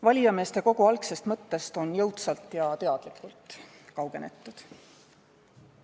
Valijameeste kogu algsest mõttest on jõudsalt ja teadlikult kaugenetud.